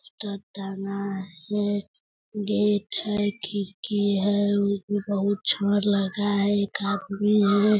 खिड़की है वो भी बहुत लगा है एक आदमी है।